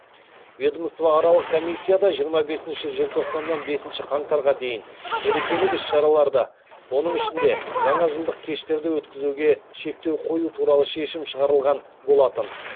ведомствоаралық комиссияда жиырма желтоқсаннан бесінші қаңтарға дейін мерекелік іс шараларды оның ішінде жаңа жылдық кештерді өткізуге шектеу қою туралы шешім шығарылған болатын